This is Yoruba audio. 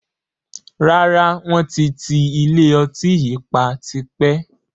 Rárá, wọn ti ti ilé ọtí yìí pa tipẹ́